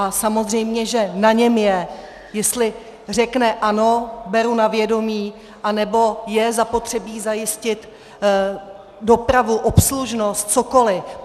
A samozřejmě že na něm je, jestli řekne ano, beru na vědomí, anebo je zapotřebí zajistit dopravu, obslužnost, cokoli.